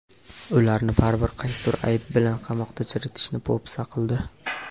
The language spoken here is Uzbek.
Ularni baribir qaysidir ayb bilan qamoqda chiritishini po‘pisa qildi.